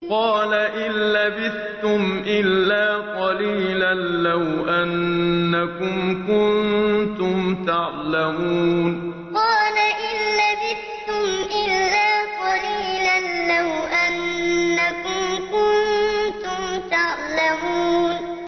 قَالَ إِن لَّبِثْتُمْ إِلَّا قَلِيلًا ۖ لَّوْ أَنَّكُمْ كُنتُمْ تَعْلَمُونَ قَالَ إِن لَّبِثْتُمْ إِلَّا قَلِيلًا ۖ لَّوْ أَنَّكُمْ كُنتُمْ تَعْلَمُونَ